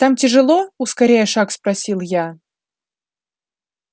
там тяжело ускоряя шаг спросил я